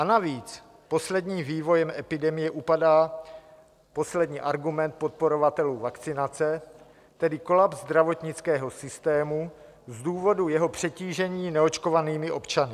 A navíc posledním vývojem epidemie upadá poslední argument podporovatelů vakcinace, tedy kolaps zdravotnického systému z důvodu jeho přetížení neočkovanými občany.